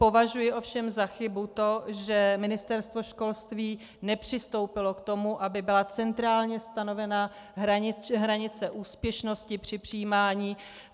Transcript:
Považuji ovšem za chybu to, že ministerstvo školství nepřistoupilo k tomu, aby byla centrálně stanovena hranice úspěšnosti při přijímání.